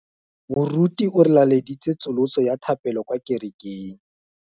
Moruti o re laleditse tsosolosô ya thapelo kwa kerekeng.